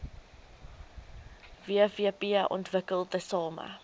wvp ontwikkel tesame